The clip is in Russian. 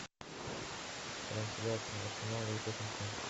трансляция арсенала и тоттенхэм